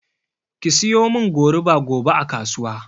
Ki siyomin goruba gobe a kasuwa